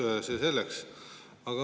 Aga see selleks.